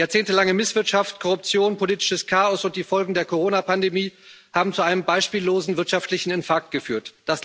Jahrzehntelange Misswirtschaft, Korruption, politisches Chaos und die Folgen der Corona Pandemie haben zu einem beispiellosen wirtschaftlichen Infarkt geführt.